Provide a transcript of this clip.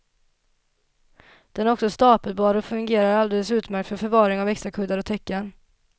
Den är också stapelbar och fungerar alldeles utmärkt för förvaring av extrakuddar och täcken.